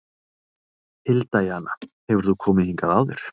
Hilda Jana: Hefur þú komið hingað áður?